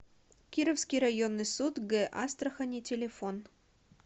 кировский районный суд г астрахани телефон